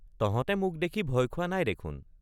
তহঁতে মোক দেখি ভয় খোৱা নাই দেখোন!